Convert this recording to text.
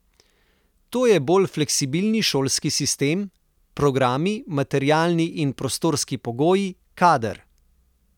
To je bolj fleksibilni šolski sistem, programi, materialni in prostorski pogoji, kader.